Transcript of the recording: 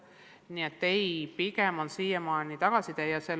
Nii et ei, pigem on siiamaani tagasiside teine.